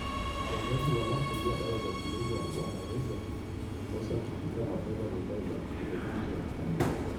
Wazazi wanaotumia dawa za kulevya wanaweza kukosa kufika mapema nyumbani na kupiga gumzo na familia.